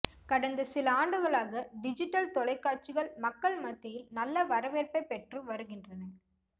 கடந்த சில ஆண்டுகளாக டிஜிட்டல் தொலைக்காட்சிகள் மக்கள் மத்தியில் நல்ல வரவேற்பை பெற்று வருகின்றன